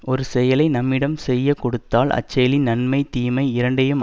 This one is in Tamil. ஒரு செயலை நம்மிடம் செய்ய கொடுத்தால் அச்செயலின் நன்மை தீமை இரண்டையும்